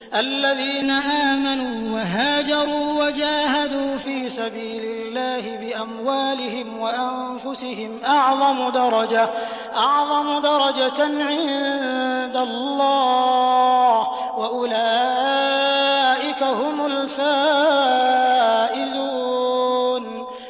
الَّذِينَ آمَنُوا وَهَاجَرُوا وَجَاهَدُوا فِي سَبِيلِ اللَّهِ بِأَمْوَالِهِمْ وَأَنفُسِهِمْ أَعْظَمُ دَرَجَةً عِندَ اللَّهِ ۚ وَأُولَٰئِكَ هُمُ الْفَائِزُونَ